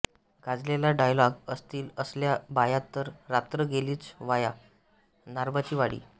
गाजलेला डायलॉग असतील असल्या बाया तर रात्र गेलीच वाया नारबाची वाडी